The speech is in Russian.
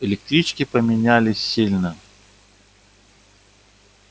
электрички поменялись сильно